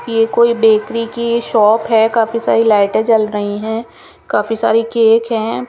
ये कोई बेकरी की शॉप है काफी काफीसारी लाइटे जल रही है काफी सारे केक है।